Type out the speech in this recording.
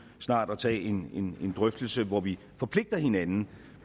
snart at tage en drøftelse hvor vi forpligter hinanden